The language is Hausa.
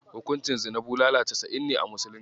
Hukuncin zina bulala casa'in ne a musulunci.